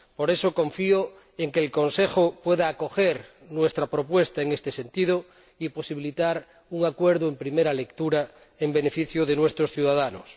Por eso, confío en que el Consejo pueda acoger nuestra propuesta en este sentido y posibilitar así un acuerdo en primera lectura en beneficio de nuestros ciudadanos.